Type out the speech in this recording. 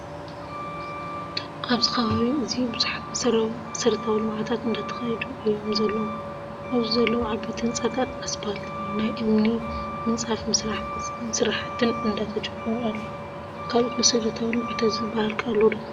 ኣብዚ ከባቢ እዚ ብዙሓት መሰረታዊ ልምዓታት እንዳተካየዱ እቶም ዘለው ኣብዚ ዘለው ዓበይቲ ህንፃታትን ኣፅፋልት፣ ናይ እምኒ ምፃፍ ስራሕትን እዳተጀመሩ ኣለው። ካልኦት መሰረታዊ ልምዓታት ዝበሃል ከ ኣሎ ዶ?